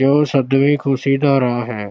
ਜੋ ਸਦੀਵੀਂ ਖੁਸ਼ੀ ਦਾ ਰਾਹ ਹੈ।